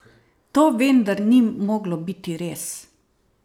To vendar ni moglo biti res!